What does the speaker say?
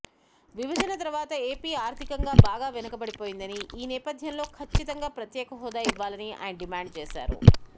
విభజన తర్వాత ఏపీ ఆర్ధికంగా భాగా వెనుకబడిపోయిందని ఈనేపధ్యంలో ఖచ్చితంగా ప్రత్యేక హోదా ఇవ్వాలని ఆయన డిమాండ్ చేశారు